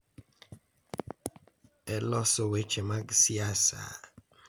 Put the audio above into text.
E loso weche mag siasa,